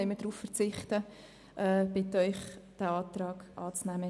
Deshalb verzichten wir darauf, diesen Antrag anzunehmen.